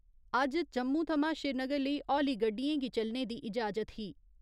अज्ज जम्मू थमां श्रीनगर लेई हौली गड्डियें गी चलने दी इजाजत ही।